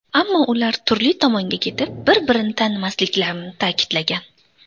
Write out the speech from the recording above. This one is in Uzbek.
Ammo ular turli tomonga ketib, bir-birini tanimasliklarini ta’kidlagan.